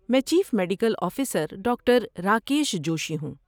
میں chief medical officer doctor Rakesh Joshi ہوں۔